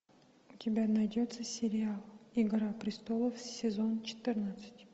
у тебя найдется сериал игра престолов сезон четырнадцать